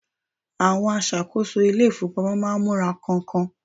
awon asakoso ilé ifowopamọ ma n mura kan-kan